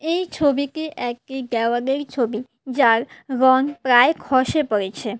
এই ছবিটি একটি দেওয়ালের ছবি যার রং প্রায় খসে পরেছে।